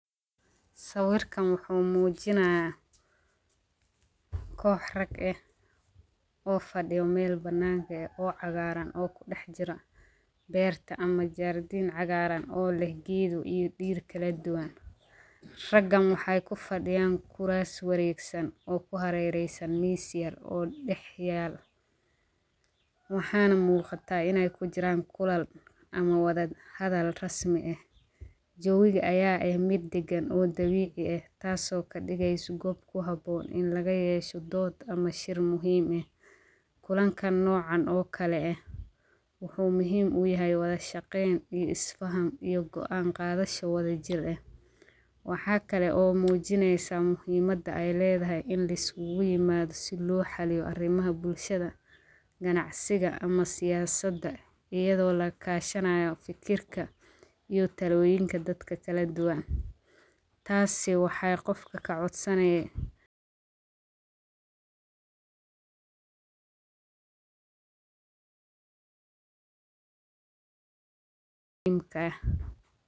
Sawirkan waxuu muujinaya kox rag eh oo fadhiya mel banaan eh oo cagaaran oo kudax jira beerta ama jardiin cagaaran oo leh geedo iyo dhir kaladuban. Ragan waxay ku fadhiyan kuras waregsan oo ku harereysan miis yar oo dhaxyaala waxaana muuqata inay ku jiran kulan ama wada hadal rasmi eh. Jawiga aya eh mid dagan oo dabiici eh taaso kadigeyso gob ku haboon in lagayeesho dood ama shir muhiim eh. Kulanka noocan oo kale eh waxuu muhiim u yahay wada shaqayn iyo is fahan iyo go'aan qaadasho wadajir eh. waxaa kale oo ay muujinaysa muhiimada ay leedahay in la iskugu imaado si loo xaliyo arimaha bulshada ganacsiga ama siyaasada ayado lakaashanayo fikirka iyo talooyinka dadka kala duban. Taasi waxay qofka ka codsanaye in ka eh.